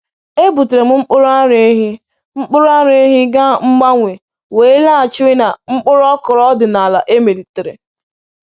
Ebutere m mkpụrụ ara ehi mkpụrụ ara ehi gaa mgbanwe wee laghachiri na mkpụrụ okra ọdịnala emelitere